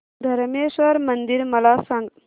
धरमेश्वर मंदिर मला सांग